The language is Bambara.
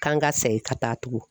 K'an ka segin ka taa tugun.